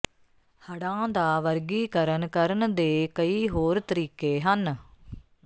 ਹੜ੍ਹਾਂ ਦਾ ਵਰਗੀਕਰਨ ਕਰਨ ਦੇ ਕਈ ਹੋਰ ਤਰੀਕੇ ਹਨ